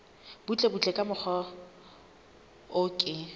butlebutle ka mokgwa o ke